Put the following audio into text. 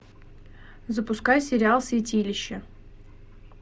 запускай сериал святилище